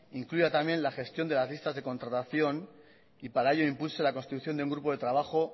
incluya también la gestión de las listas de contratación y para ello impulse la construcción de un grupo de trabajo